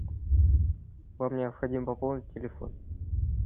вам необходимо пополнить телефон